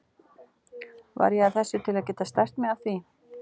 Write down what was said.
Var ég að þessu til að geta stært mig af því?